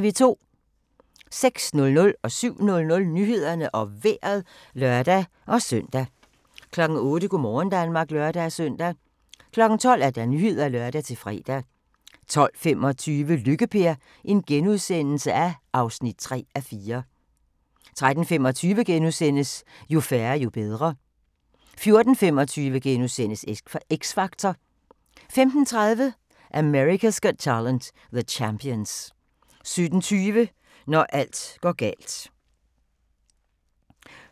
06:00: Nyhederne og Vejret (lør-søn) 07:00: Nyhederne og Vejret (lør-søn) 08:00: Go' morgen Danmark (lør-søn) 12:00: Nyhederne (lør-fre) 12:25: Lykke-Per (3:4)* 13:25: Jo færre, jo bedre * 14:25: X Factor * 15:30: America's Got Talent - The Champions 17:20: Når alt går galt